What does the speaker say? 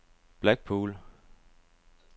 Blackpool